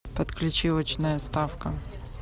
подключи очная ставка